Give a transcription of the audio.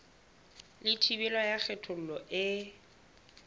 le thibelo ya kgethollo e